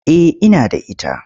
Eh ina da ita.